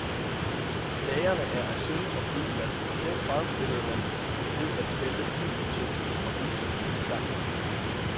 Stagerne er af sølv og guldglas, og dem fremstillede man ved at smelte bly, tin og vismut sammen.